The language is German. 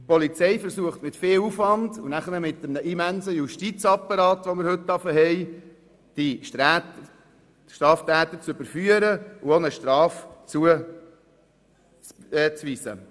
Die Polizei versucht mit viel Aufwand und mit einem immensen Justizapparat die Straftäter zu überführen und eine Strafe zuzuweisen.